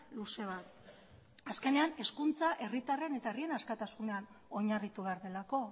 luze bat azkenean hezkuntza herritarren eta herrien askatasunean oinarritu behar delako